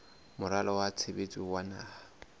moralo wa tshebetso wa naha